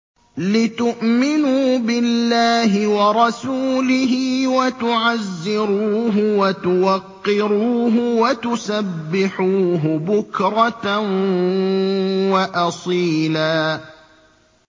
لِّتُؤْمِنُوا بِاللَّهِ وَرَسُولِهِ وَتُعَزِّرُوهُ وَتُوَقِّرُوهُ وَتُسَبِّحُوهُ بُكْرَةً وَأَصِيلًا